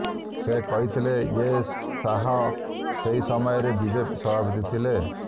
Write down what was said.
ସେ କହିଥିଲେ ୟେ ଶାହ ସେହି ସମୟରେ ବିଜେପି ସଭାପତି ଥିଲେ